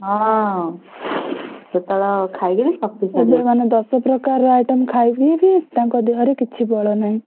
ହଁ ସେତେବେଳେ ଖାଇକିରି ଶକ୍ତିଶା~